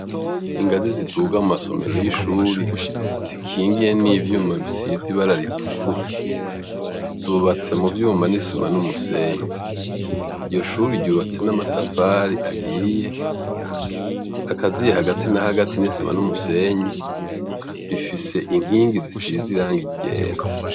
Ingazi ziduga mu masomero y'ishure zisize ibara ritukura, zubatse muvyuma n'isima n'umusenyi, iryo shure ryubatswe n'amatafari ahiye akaziye hagati nahagati n'isima n'umusenyi rifise inkingi zisize irangi ryera.